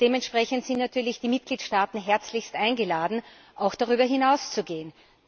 Und dementsprechend sind natürlich die Mitgliedstaaten herzlichst eingeladen, auch darüber hinauszugehen.